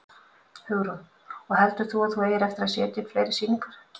Hugrún: Og heldur þú að þú eigir eftir að setja upp fleiri sýningar?